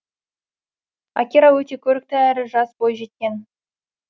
акира өте көрікті әрі жас бойжеткен